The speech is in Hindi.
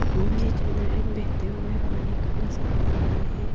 के अंदर एक बहते हुए पानी का नजारा आ रहा है।